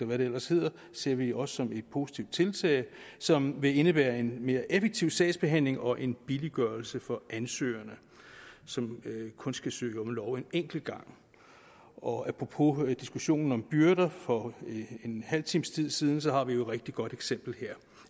hvad det ellers hedder ser vi også som et positivt tiltag som vil indebære en mere effektiv sagsbehandling og en billiggørelse for ansøgerne som kun skal søge om lov en enkelt gang og apropos diskussionen om byrder for en halv times tid siden så har vi jo et rigtig godt eksempel her